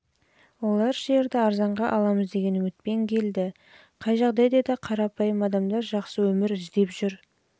олар жерді арзанға аламыз деген үмітпен келді қай жағдайда да қарапайым адамдар жақсы өмір іздеп жер